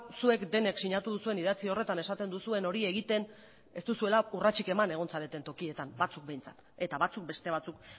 zuek denek sinatu duzuen idatzi horretan esaten duzuen hori egiten ez duzuela urratsik eman egon zareten tokietan batzuk behintzat eta batzuk beste batzuk